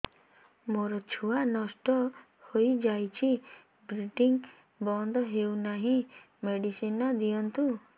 ମୋର ଛୁଆ ନଷ୍ଟ ହୋଇଯାଇଛି ବ୍ଲିଡ଼ିଙ୍ଗ ବନ୍ଦ ହଉନାହିଁ ମେଡିସିନ ଦିଅନ୍ତୁ